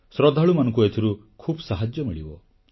ଶ୍ରଦ୍ଧାଳୁମାନଙ୍କୁ ଏଥିରୁ ଖୁବ୍ ସାହାଯ୍ୟ ମିଳିବ